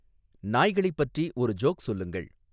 நாய்களைப் பற்றி ஒரு ஜோக் சொல்லுங்கள்